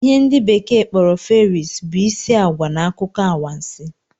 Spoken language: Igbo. ihe ndi bekee kporo Fairies, bụ isi agwa na akụkọ anwansi